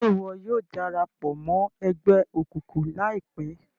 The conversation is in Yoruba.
Ṣe iwọ yóò darapọ̀ mọ ẹgbẹ òkùnkùn laipẹ?